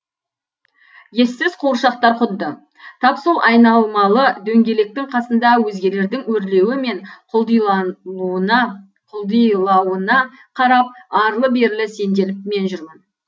ессіз қуыршақтар құдды тап сол айналмалы дөңгелектің қасында өзгелердің өрлеуі мен құлдилауына арлы берлі сенделіп мен жүрмін